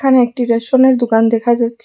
একটি রেশনের দোকান দেখা যাচ্ছে।